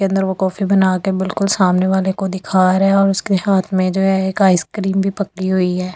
के अन्दर वो कॉफी बना के बिल्कुल सामने वाले को वो दिखा रहा है उसके हाथ में जो है एक आइसक्रीम भी पकड़ी हुई है।